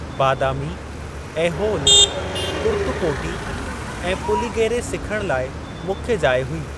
बादामी, ऐहोल, कुर्तुकोटि ऐं पुलिगेरे सिखण लाइ मुख्य जाइ हुई।